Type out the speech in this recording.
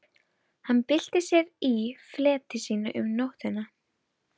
Hann bylti sér í fleti sínu um nóttina.